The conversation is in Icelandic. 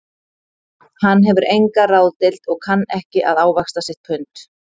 Hann hefur enga ráðdeild og kann ekki að ávaxta sitt pund